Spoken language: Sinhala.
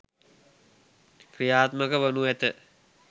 ක්‍රියාත්මක වනු ඇත